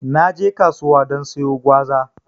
Naje kasuwa don sayo gwaza